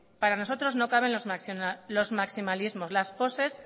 para nosotros no cabe los maximalismos las poses